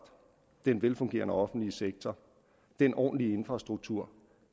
den velfungerende offentlige sektor og den ordentlige infrastruktur